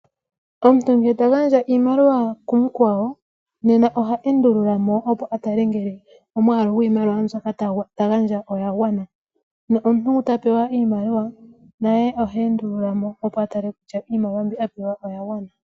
Omuntu ngele ta gandja iimaliwa kumukwawo nena oha endulula mo opo a tale ngele omwalu gwiimaliwa mbyoka ta gandja oya gwana. Nomuntu ngono ta pewa iimaliwa naye ohe endulula mo opo a tale kutya iimaliwa mbi a pewa oya gwana.